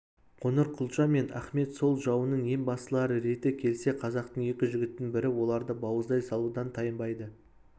қоңырқұлжа мен ахмет сол жауының ең бастылары реті келсе қазақтың екі жігітінің бірі оларды бауыздай салудан тайынбайды